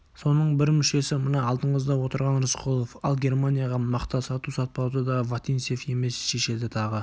соның бір мүшесі мына алдыңызда отырған рысқұлов ал германияға мақта сату-сатпауды да вотинцев емес шешеді тағы